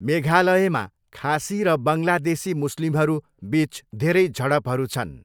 मेघालयमा खासी र बङ्गलादेशी मुस्लिमहरू बिचधेरै झडपहरू छन्।